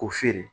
K'o feere